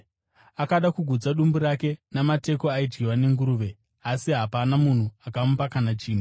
Akada kugutsa dumbu rake namateko aidyiwa nenguruve, asi hapana munhu akamupa kana chinhu.